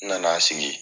N nana sigi